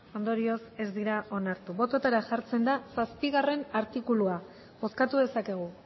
ondorioz ez dira onartu bototara jartzen da zazpigarrena artikulua bozkatu dezakegu